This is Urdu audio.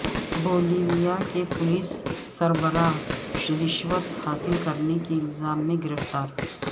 بولیویا کے پولیس سربراہ رشوت حاصل کرنے کے الزام میں گرفتار